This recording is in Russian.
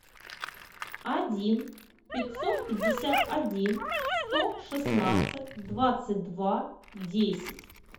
один пятьсот пятьдесят один сто шестнадцать двадцать два десять